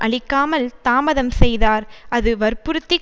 அளிக்காமல் தாமதம் செய்தார் அது வற்புறுத்திக்